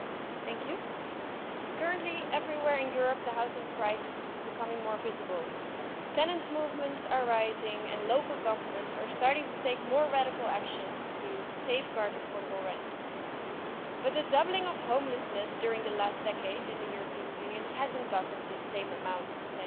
Mr President, currently everywhere in Europe, the housing crisis is becoming more visible. The number of tenants' movements is rising and local governments are starting to take more radical action to safeguard affordable rents, but the doubling of homelessness during the last decade in the European Union hasn't gotten the same amount of attention.